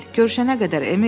Görüşənə qədər, Emil!